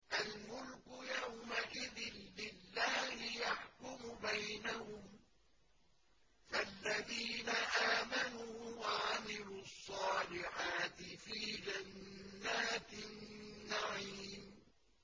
الْمُلْكُ يَوْمَئِذٍ لِّلَّهِ يَحْكُمُ بَيْنَهُمْ ۚ فَالَّذِينَ آمَنُوا وَعَمِلُوا الصَّالِحَاتِ فِي جَنَّاتِ النَّعِيمِ